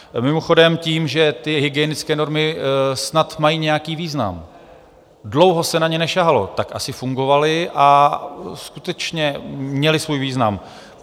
Mimochodem, tím, že ty hygienické normy snad mají nějaký význam, dlouho se na ně nesahalo, tak asi fungovaly a skutečně měly svůj význam.